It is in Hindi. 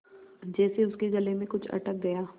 जैसे उसके गले में कुछ अटक गया